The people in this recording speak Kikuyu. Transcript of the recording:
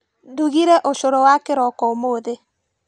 Ndugire ũcũrũ wa kĩroko ũmũthĩ.